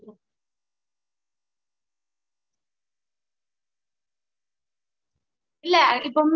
mam நாங்க எல்லாமே இங்க best டாதா mam இது பண் so உங்க choice mam. உங்களுக்கு எந்த மாதிரி